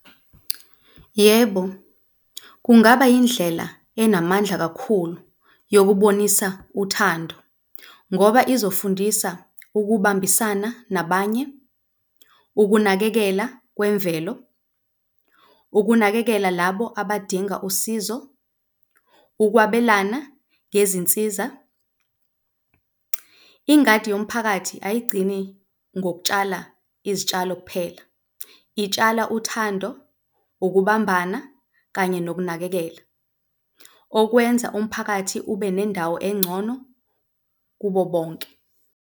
Yebo, kungaba indlela enamandla kakhulu yokubonisa uthando ngoba izofundisa ukubambisana nabanye, ukunakekela kwemvelo, ukunakekela labo abadinga usizo, ukwabelana ngezinsiza. Ingadi yomphakathi ayigcini ngokutshala izitshalo kuphela, itshala uthando, ukubambana kanye nokunakekela, okwenza umphakathi ube nendawo engcono kubo bonke.